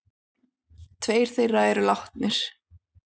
Tveir þeirra eru látnir.